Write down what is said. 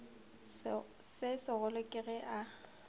se segolo ke ge a